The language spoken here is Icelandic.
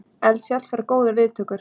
Eldfjall fær góðar viðtökur